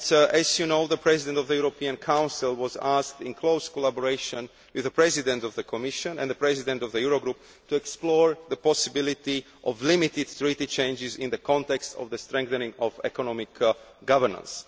As you know, the President of the European Council has been asked, in close collaboration with the President of the Commission and the President of the Eurogroup, to explore the possibility of limited Treaty changes in the context of the strengthening of economic governance.